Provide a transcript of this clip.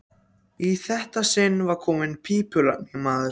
Í þetta sinn var þar kominn pípulagningamaður.